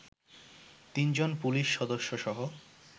তিনজন পুলিশ সদস্য সহ